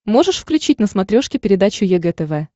можешь включить на смотрешке передачу егэ тв